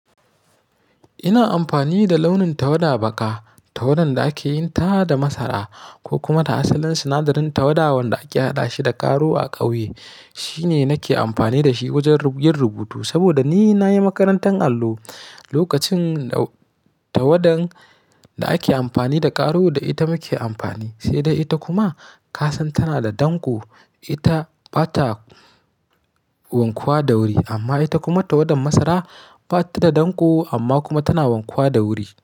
Ina amfani da launin tawada baka, tawadan da ake yin ta da masara ko kuma ta asalin sinadarin tawada wanda ake haɗa shi da karo a ƙauye. Shi ne nake amfani da shi wajen yin rubutu saboda ni nayi makarantar allo. Lokacin tawadan da ake amfani da karo ita muke amfani, sai dai ita kuma kasan tana da danƙo. Ita bata wankuwa da wuri amma ita kuma tawadan masara bata da danƙo amma kuma tana wankuwa da wuri.